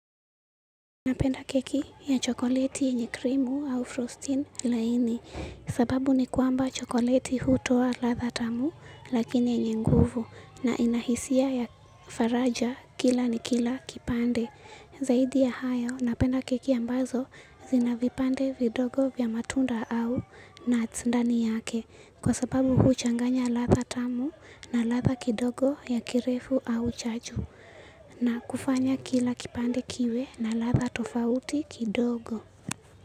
Napenda keki ya chokoleti yenye krimu au frosti laini. Sababu ni kwamba chokoleti hutoa ladha tamu lakini yenye nguvu, na inahisia ya faraja kila kipande. Zaidi ya hayo, napenda keki ambazo zina vipande vidogo vya matunda au nuts ndani yake kwa sababu huchanganya ladha tamu na ladha kidogo ya kirefu au chachu. Na kufanya kila kipande kiwe na ladha tofauti kidogo.